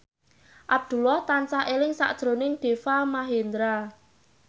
Abdullah tansah eling sakjroning Deva Mahendra